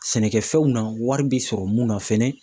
Sɛnɛkɛfɛnw na wari bɛ sɔrɔ mun na fɛnɛ.